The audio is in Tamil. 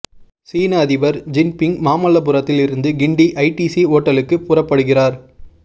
சீன அதிபர் ஜின்பிங் மாமல்லபுரத்தில் இருந்து கிண்டி ஐடிசி ஓட்டலுக்கு புறப்படுகிறார்